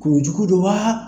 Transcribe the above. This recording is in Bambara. Kuru jugu don wa